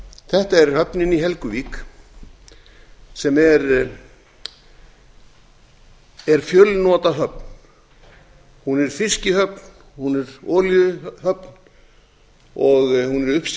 þetta er höfnin í helguvík sem er fjölnotahöfn hún er fiskihöfn hún er olíuhöfn hún er uppsjávarfiskshöfn jafnt